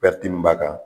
min b'a kan